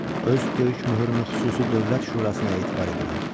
Öz böyük möhürümü xüsusi Dövlət Şurasına etibar edirəm.